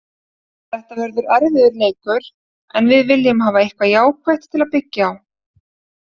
Þetta verður erfiður leikur en við viljum hafa eitthvað jákvætt til að byggja á.